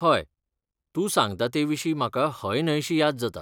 हय, तूं सांगता तेविशीं म्हाका हय न्हय शी याद जाता